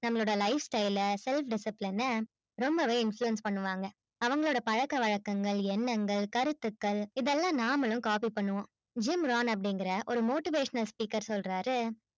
நம்மளோட lifestyle self discipline ரொம்பவே influence பண்ணுவாங்க அப்பறம் பழக்க வழக்கங்கள் எண்ணங்கள் கருத்துகள் இத்தலம் நம்மளும் copy பண்ணுவோம் human அப்டிங்குற ஒரு motivation speaker சொல்லறாரு